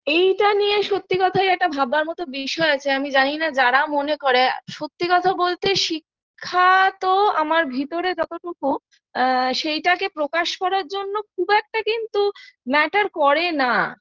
এইটা নিয়ে সত্যি কথাই একটা ভাববার মতো বিষয় যে আমি জানিনা যারা মনে করে সত্যি কথা বলতে শিক্ষা তো আমার ভিতরে যতটুকু আ সেটাকে প্রকাশ করার জন্য খুব একটা কিন্তু Matter করে না